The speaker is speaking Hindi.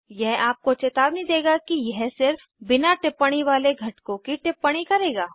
यह आपको चेतावनी देगा कि यह सिर्फ बिना टिप्पणी वाले घटकों की टिप्पणी करेगा